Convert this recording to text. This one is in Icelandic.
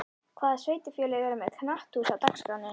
Hvaða sveitarfélög eru með knatthús á dagskránni?